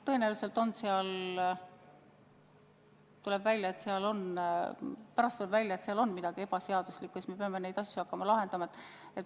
Tõenäoliselt tuleb pärast välja, et seal on midagi ebaseaduslikku, ja siis me peame neid asju hakkama lahendama.